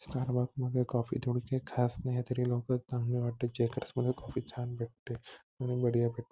छान वाटते कॉफी इथे एवढी काय खास नाहीय तरी लोक चांगली वाटते कॉफी छान भेटते --